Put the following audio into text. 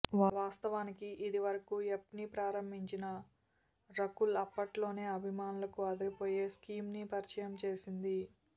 వాస్తవానికి ఇదివరకూ యాప్ని ప్రారంభించిన రకుల్ అప్పట్లోనే అభిమానులకు అదిరిపోయే స్కీమ్ని పరిచయం చేసింది